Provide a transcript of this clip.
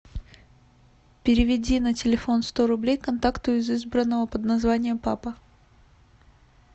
переведи на телефон сто рублей контакту из избранного под названием папа